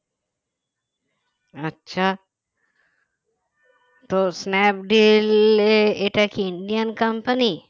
আচ্ছা তো স্ন্যাপডিলে এটা কি Indian company